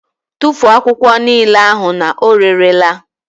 Tụfuo akwụkwọ niile ahụ na ọ rere la!